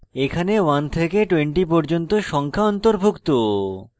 এতে 1 থেকে 20 পর্যন্ত সংখ্যা অন্তর্ভুক্ত